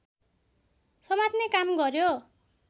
समात्ने काम गर्यो